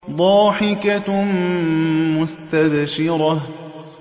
ضَاحِكَةٌ مُّسْتَبْشِرَةٌ